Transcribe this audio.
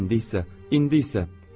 İndi isə, indi isə.